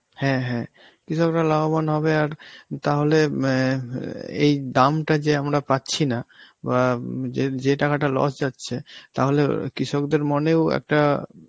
হ্যাঁ হ্যাঁ, কৃষকরা লাভবান হবে আর তাহলে ম্যাঁ অ্যাঁ এই দামটা যে আমরা পাচ্ছিনা বা উম যে~ যেই টাকাটা loss যাচ্ছে তাহলে অ কৃষকদের মনেও একটা~